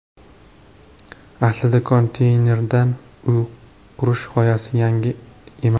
Aslida konteynerdan uy qurish g‘oyasi yangi emas.